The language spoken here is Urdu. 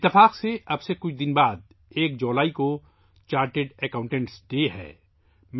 اتفاق سے اب سے چند دن بعد یکم جولائی کو چارٹرڈ اکاؤنٹنٹس ڈے ہے